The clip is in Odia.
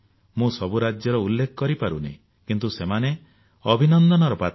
ମୁଁ ସବୁ ରାଜ୍ୟର ଉଲ୍ଲେଖ କରିପାରୁନାହିଁ କିନ୍ତୁ ସେମାନେ ଅଭିନନ୍ଦନର ପାତ୍ର